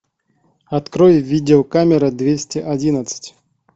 открой видеокамера двести одиннадцать